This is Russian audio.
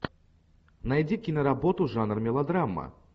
найди киноработу жанр мелодрама